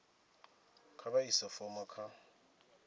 kha vha ise fomo kha